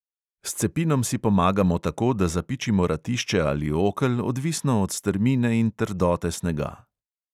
S cepinom si pomagamo tako, da zapičimo ratišče ali okel, odvisno od strmine in trdote snega.